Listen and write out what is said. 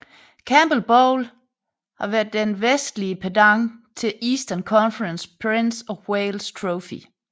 Campbell Bowl været den vestlige pendant til Eastern Conferences Prince of Wales Trophy